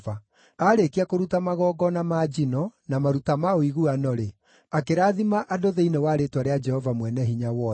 Aarĩkia kũruta magongona ma njino, na maruta ma ũiguano-rĩ, akĩrathima andũ thĩinĩ wa rĩĩtwa rĩa Jehova Mwene-Hinya-Wothe.